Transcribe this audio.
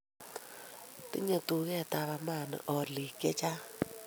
tinyei duketab Amani oliik chechang